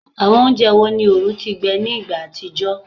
Awọn ounjẹ wo ni oorun ti gbẹ ni igba atijọ?